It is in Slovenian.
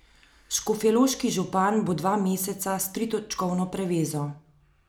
Škofjeloški župan bo dva meseca s tritočkovno prevezo.